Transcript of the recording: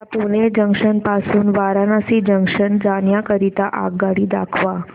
मला पुणे जंक्शन पासून वाराणसी जंक्शन जाण्या करीता आगगाडी दाखवा